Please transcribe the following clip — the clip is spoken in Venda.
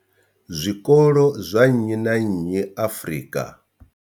Zwikolo zwa nnyi na nnyi Afrika.